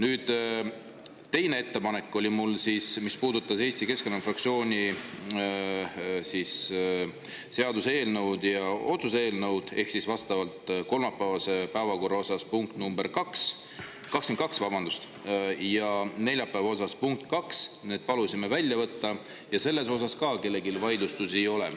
Mu teine ettepanek puudutas Eesti Keskerakonna fraktsiooni seaduseelnõu ja otsuse eelnõu ehk siis vastavalt kolmapäevase päevakorra punkti nr 22 ja neljapäeva punkti 2, need palusime välja võtta ja selle puhul ka kellelgi vaidlustusi ei ole.